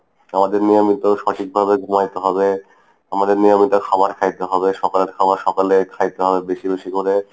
আমাদের নিয়মিত সঠিকভাবে ঘুমাইতে হবে আমাদের নিয়মিত খাবার খাইতে হবে। সকালের খাবার সকলে খাইতে হবে, বেশি বেশি করে।